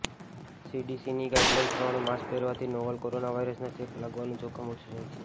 સીડીસીની guidelines પ્રમાણે mask પહેરવાથી novel corona વાયરસનો ચેપ લાગવાનું જોખમ ઓછું હોય છે